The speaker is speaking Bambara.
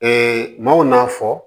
maaw n'a fɔ